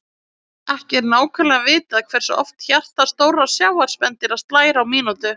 Ekki er nákvæmlega vitað hversu oft hjarta stórra sjávarspendýra slær á mínútu.